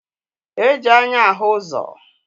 E ji anya ahụ ụzọ